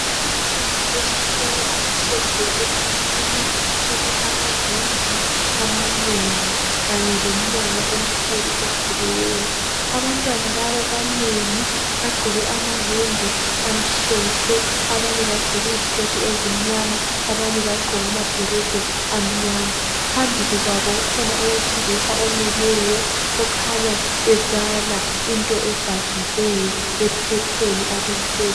abantwana besikolo abahleziyo egumbini elilama windi amanengi kanye lomnyango ovuliweyo abantwana laba abanengi bagqoke amayembe amhlophe abanye bagqoke izketi ezimnyama abanye bagqoke amabhulugwa amnyama phambi kwabo kukhona owesilisa omileyo okhanya ebala into ebhaliweyo ephepheni alithweleyo